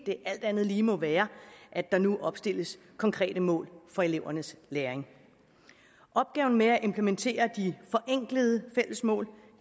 det alt andet lige må være at der nu opstilles konkrete mål for elevernes læring opgaven med at implementere de forenklede fælles mål